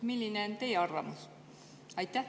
Milline on teie arvamus?